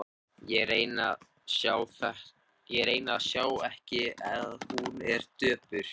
Ég reyni að sjá ekki að hún er döpur.